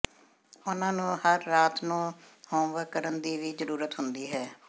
ਉਹਨਾਂ ਨੂੰ ਹਰ ਰਾਤ ਨੂੰ ਹੋਮਵਰਕ ਕਰਨ ਦੀ ਵੀ ਜ਼ਰੂਰਤ ਹੁੰਦੀ ਹੈ